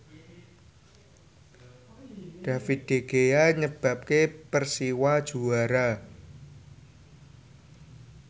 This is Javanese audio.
David De Gea nyebabke Persiwa juara